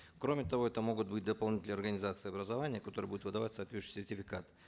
кроме того это могут быть дополнительные организации образования которые будут выдавать соответствующий сертификат